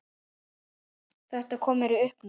Þetta kom mér í uppnám